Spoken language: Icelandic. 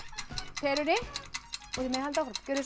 perunni og þið megið halda áfram gjörið svo